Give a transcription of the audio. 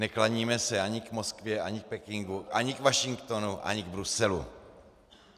Neklaníme se ani k Moskvě, ani k Pekingu, ani k Washingtonu, ani k Bruselu.